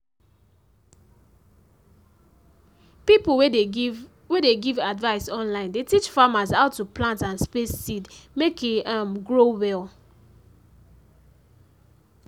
pipo wey de give wey de give advice online dey teach farmers how to plant and space seeds mek e um grow well.